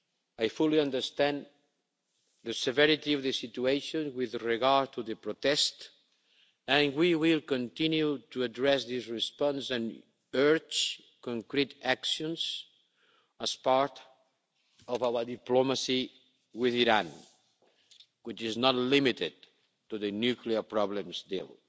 I fully understand the severity of the situation with regard to the protests, and we will continue to address this response and urge concrete actions as part of our diplomacy with Iran, which is not limited to the nuclear problems still.